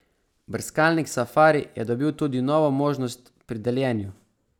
Brskalnik Safari je dobil tudi novo možnost pri deljenju.